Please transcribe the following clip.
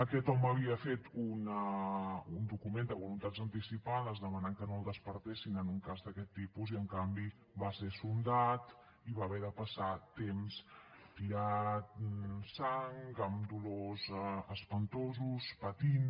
aquest home havia fet un document de voluntats anticipades demanant que no el despertessin en un cas d’aquest tipus i en canvi va ser sondat i va haver de passar temps tirant sang amb dolors espantosos patint